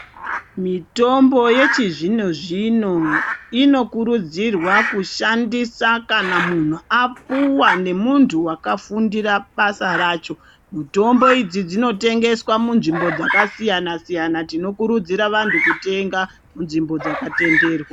Mitombo yechizvino zvino inokurudzirwa kushandisa kana mu hu apuwa nemuntu wakafundira basa racho mutombo idzi dzinotengeswa munzvimbo dzakasiyana siyana tinokurudzira vantu kutenga munzvimbo dzakatenderwa.